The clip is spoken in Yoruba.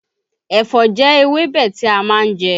Ẹ̀fọ́ jẹ́ ewébẹ̀ tí a má ń je